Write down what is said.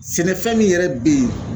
Sɛnɛfɛn min yɛrɛ bɛ yen